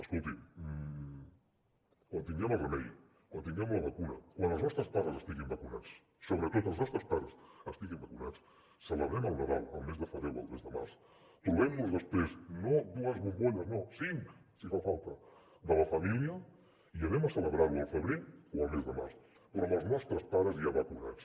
escolti quan tinguem el remei quan tinguem la vacuna quan els nostres pares estiguin vacunats sobretot els nostres pares estiguin vacunats celebrem el nadal el mes de febrer o el mes de març trobem nos després no dues bombolles no cinc si fa falta de la família i anem a celebrar ho al febrer o al mes de març però amb els nostres pares ja vacunats